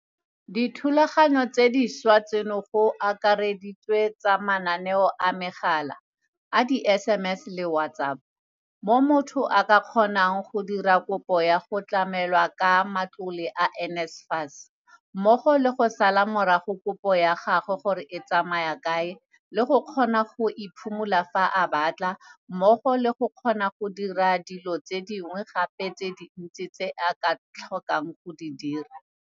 Dithulaganyo tse dintšhwa tseno go akareditswe tsa mananeo a megala, a di-SMS le WhatsApp, mo motho a ka kgonang go dira kopo ya go tlamelwa ka matlole a NSFAS, mmogo le go sala morago kopo ya gagwe gore e tsamaya kae le go kgona go e phimola fa a batla mmogo le go kgona go dira dilo tse dingwe gape tse dintsi tse a ka tlhokang go di dira.